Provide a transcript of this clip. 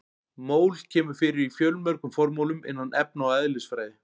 Mól kemur fyrir í fjölmörgum formúlum innan efna- og eðlisfræði.